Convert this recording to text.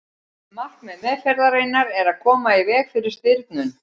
markmið meðferðarinnar er að koma í veg fyrir stirðnun